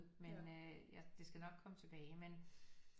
Men øh det skal nok komme tilbage men